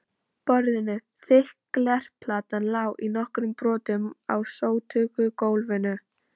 borðinu, þykk glerplatan lá í nokkrum brotum á sótugu gólfinu.